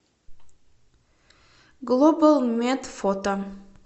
глобал мед фото